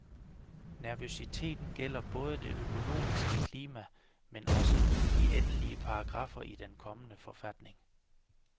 Nervøsiteten gælder både det økonomiske klima, men også de endelige paragraffer i den kommende forfatning.